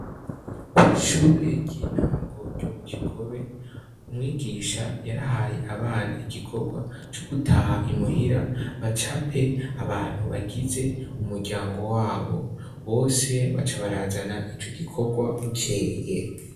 Ko ishure ry'intango ryo mu gigobe umwigisha yarahaye abana igikorwa co gutaha imuhira baca pe abantu bagize u muryango wabo bose baca barazana ico gikorwa buceye.